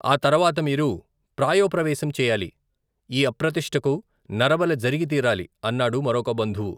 ఆ తరవాత మీరు ప్రాయోపవేశం చెయ్యాలి ! ఈ అప్రతిష్ఠకు నరబలి జరిగి తీరాలి! అన్నాడు మరొక బంధువు.